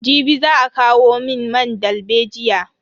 Jibi za a kawo mun man dalbejiya.